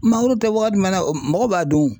Mangoro tɛ waga jumɛn na mɔgɔ b'a dun.